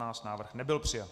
Návrh nebyl přijat.